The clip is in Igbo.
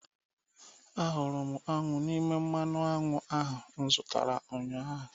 Ahụrụ m aṅụ n'ime mmanụ aṅụ ahụ m zụtara ụnyahụ